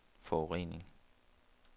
forurening